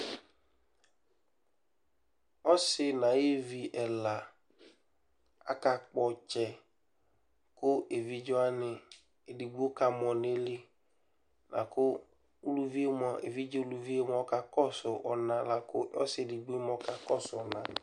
Ɔsɩ nʋ ayevi ɛla akakpɔ ɔtsɛ kʋ evidze wanɩ, edigbo kamɔ nʋ ayili la kʋ uluvi yɛ mʋa, evidze uluvi yɛ mʋa, ɔkakɔsʋ ɔna la kʋ ɔsɩ dɩ bɩ mʋa, ɔkakɔsʋ ɔna